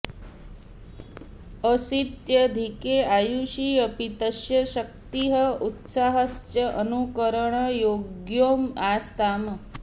अशीत्यधिके आयुषि अपि तस्य शक्तिः उत्साहश्च अनुकरणयोग्यौ आस्ताम्